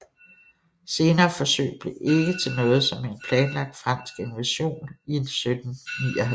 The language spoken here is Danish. Senere forsøg blev ikke til noget som en planlagt fransk invasion i 1759